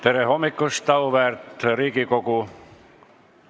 Tere hommikust, auväärt Riigikogu!